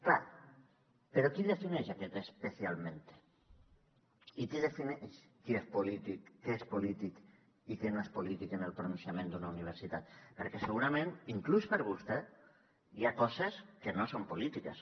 clar però qui defineix aquest especialmente i qui defineix què és polític i què no és polític en el pronunciament d’una universitat perquè segurament inclús per a vostè hi ha coses que no són polítiques